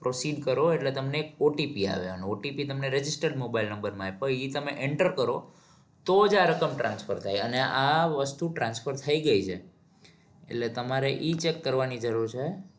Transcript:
processing કરો એટલે તમને એક OTP આવે અને OTP તમને register mobile number માં આવે તો એ તમે enter કરો તો જ આ રકમ transfer થાય અને આ વસ્તુ transfer થઇ ગઈ છે એટલે તમારે ઈ check કરવાની જરૂર છે.